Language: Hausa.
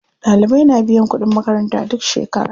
Ɗalibai na biyan kuɗin makaranta duk shekera.